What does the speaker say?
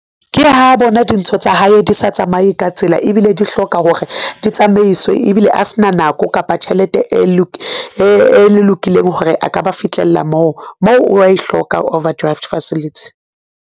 Ke ha bona dintho tsa hae di sa tsamaye ka tsela ebile di hloka hore di tsamaiswe ebile a s'na nako kapa tjhelete e lokileng hore a ka ba fitlhella moo, mo wa e hloka overdraft facility.